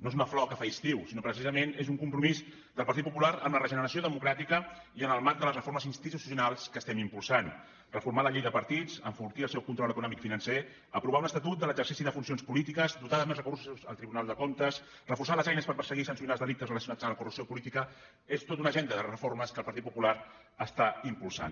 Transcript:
no és una flor que fa estiu sinó que precisament és un compromís que el partit popular amb la regeneració democràtica i en el marc de les reformes institucionals que estem impulsant reformar la llei de partits enfortir el seu control econòmic i financer aprovar un estatut de l’exercici de funcions polítiques dotar amb més recursos el tribunal de comptes reforçar les eines per perseguir i sancionar els delictes relacionats amb la corrupció política és tota una agenda de reformes que el partit popular està impulsant